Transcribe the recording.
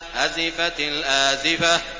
أَزِفَتِ الْآزِفَةُ